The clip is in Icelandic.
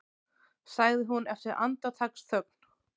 sagði hún eftir andartaksþögn.